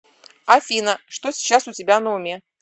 афина что сейчас у тебя на уме